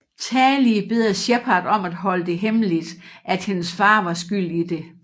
Tali beder Shepard om at holde det hemmeligt at hendes far var skyld i det